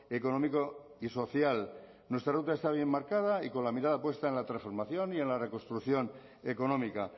económico y social nuestra ruta está bien marcada y con la mirada puesta en la transformación y en la reconstrucción económica